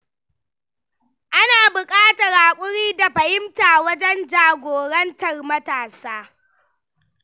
Ana buƙatar haƙuri da fahimta wajen jagorantar matasa.